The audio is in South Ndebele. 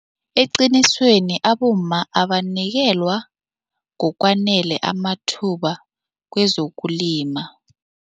Eqinisweni abomma abanikelwa ngokwanele amathuba kwezokulima.